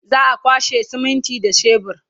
za'a kwashe siminti da shebur